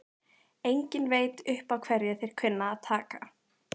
Enginn veit upp á hverju þeir kunna að taka!